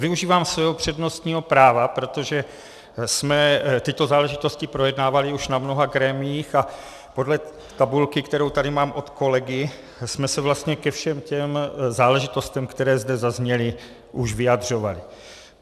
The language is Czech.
Využívám svého přednostního práva, protože jsme tyto záležitosti projednávali už na mnoha grémiích a podle tabulky, kterou tady mám od kolegy, jsme se vlastně ke všem těm záležitostem, které zde zazněly, už vyjadřovali.